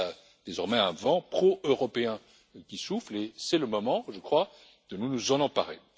Il y a désormais un vent pro-européen qui souffle et c'est le moment, je crois, de nous en emparer.